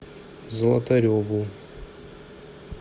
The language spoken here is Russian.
золотареву